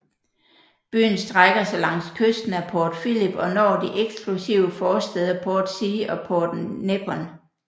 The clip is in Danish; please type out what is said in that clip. Byen strækker sig langs kysten af Port Phillip og når de eksklusive forstæder Portsea og Point Nepean